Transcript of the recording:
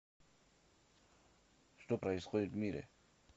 что происходит в мире